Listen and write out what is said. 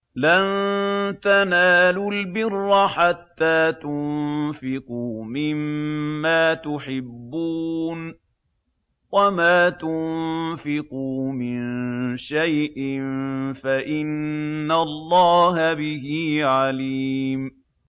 لَن تَنَالُوا الْبِرَّ حَتَّىٰ تُنفِقُوا مِمَّا تُحِبُّونَ ۚ وَمَا تُنفِقُوا مِن شَيْءٍ فَإِنَّ اللَّهَ بِهِ عَلِيمٌ